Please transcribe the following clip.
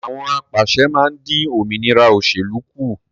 Àwọn apàṣẹ máa dín òmìnira òsèlú kù